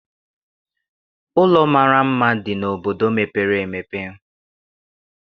Ụlọ mara mma dị n'obodo mepere emepe.